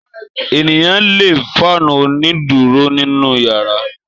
Ènìyàn le fáánù onídùúró nínú ìyàrá.